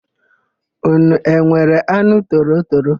Ụnụ enwere anụ torotoro?